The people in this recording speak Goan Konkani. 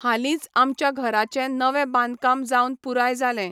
हालींच आमच्या घराचें नवें बांदकाम जावन पूराय जालें.